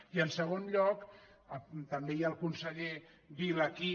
i en segon lloc també hi ha el conseller vila aquí